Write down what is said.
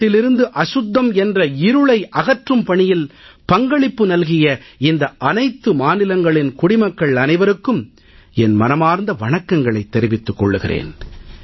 நாட்டிலிருந்து அசுத்தம் என்ற இருளை அகற்றும் பணியில் பங்களிப்பு நல்கிய இந்த அனைத்து மாநிலங்களின் குடிமக்கள் அனைவருக்கும் என் மனமார்ந்த வணக்கங்களைத் தெரிவித்துக் கொள்கிறேன்